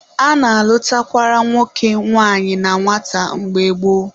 A na-alụtakwara nwoke nwanyị na nwata mgbe gboo